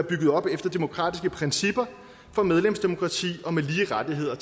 bygget op efter demokratiske principper om medlemsdemokrati og med lige rettigheder